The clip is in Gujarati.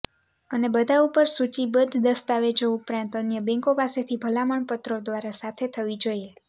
અને બધા ઉપર સૂચિબદ્ધ દસ્તાવેજો ઉપરાંત અન્ય બેન્કો પાસેથી ભલામણ પત્રો દ્વારા સાથે થવી જોઈએ